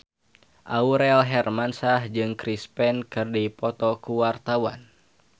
Aurel Hermansyah jeung Chris Pane keur dipoto ku wartawan